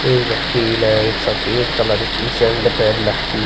इस व्यक्ति ने सफेद कलर कि शरड पेहन रखी हैं।